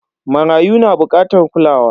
Marayu na bukatar kulawa.